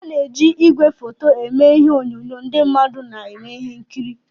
Ana-eji igwefoto eme ihe onyonyo ndị mmadụ na-eme ihe nkiri.